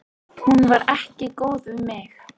Hún var ekki góð við mig.